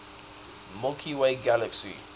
milky way galaxy